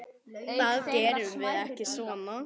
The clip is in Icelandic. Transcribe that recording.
Það gerum við ekki svona.